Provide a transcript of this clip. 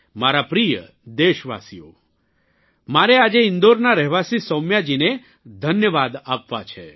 મારા પ્રિય દેશવાસીઓ મારે આજે ઇન્દોરનાં રહેવાસી સૌમ્યાજીને ધન્યવાદ આપવા છે